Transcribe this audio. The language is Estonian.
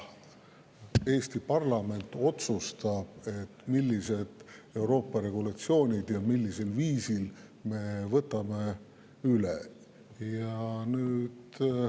Eesti parlament otsustab, millised Euroopa regulatsioonid me millisel viisil üle võtame.